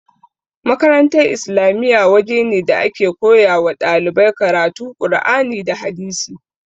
Makarantar islamiya waje ne da ake koyawa ɗalibai karatu qur'ani da hadisi